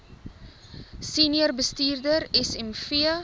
senior bestuurder smv